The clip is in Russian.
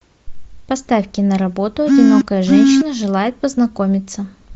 поставь киноработу одинокая женщина желает познакомиться